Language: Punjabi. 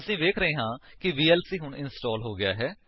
ਅਸੀਂ ਵੇਖ ਰਹੇ ਹਾਂ ਕਿ ਵੀਐਲਸੀ ਹੁਣ ਇੰਸਟਾਲ ਹੋ ਗਿਆ ਹੈ